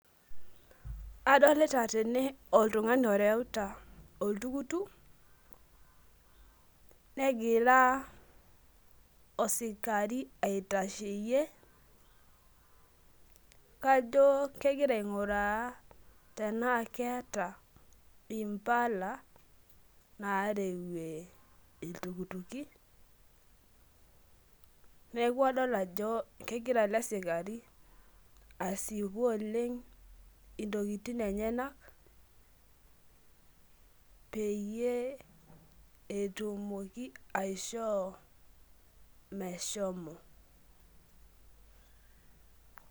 adolita tene oltungani oreuta oltukutuk, negira osikari aitasheyie, kajo kegira aing'uraa tenaa keeta mpala naarwuee iltukutuki, neeku adol ajo, kegira ele sikari asipu oleng intokitin enyenak, peyie etumoki aishoo meshomo.